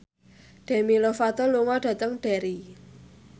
Demi Lovato lunga dhateng Derry